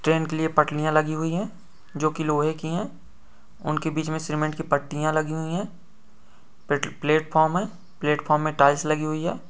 Train के लिए पटरियां लगी हुईं है जो की लोहे की है उनके बिच में सीमेंट की पटियाँ लगी हुई है प्लेट-प्लेटफॉर्म हैं प्लेटफ़ॉर्म में टाइल्स लगी हुई है।